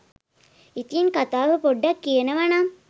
ඉතින් කතාව පොඩ්ඩක් කියනව නම්